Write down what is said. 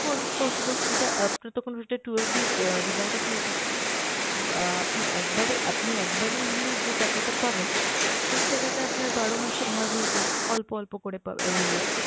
পসি~ possible, এটা অ্যাঁ তখন ওটা twelve দিয়ে অ্যাঁ divided হয়ে যাবে। উম অ্যাঁ আপনি একবারে, আপনি একবারে নিয়ে নিলে যে টাকাটা পাবেন সেই টাকাটা আপনার বারো মাসে ভাগ হয়ে যাবে, অল্প অল্প করে পাবে এই অ্যাঁ